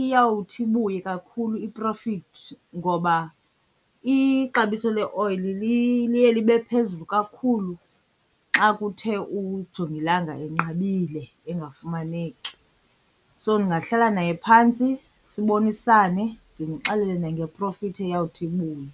iyawuthi ibuye kakhulu i-profit ngoba ixabiso leoyili liye libe phezulu kakhulu xa kuthe ujongilanga enqabile engafumaneki. So ndingahlala naye phantsi sibonisane, ndimxelele nange-profit eyawuthi ibuye.